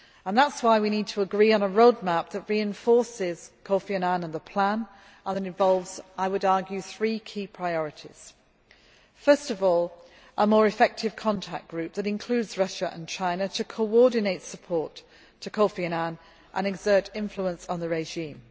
That is why we need to agree on a road map that reinforces Kofi Annan and the plan and that involves, I would argue, three key priorities firstly, a more effective contact group that includes Russia and China, to coordinate support for Kofi Annan and exert influence on the regime.